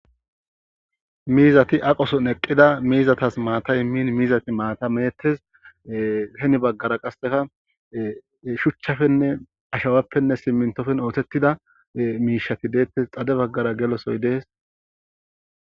Miizati aqoson eqqida miizatas maata min miizati maata meettes heni baggara qasseka shuchchafenne ashawappenne simintofen ootettida miishati deettes xade baggara gelosoy dees.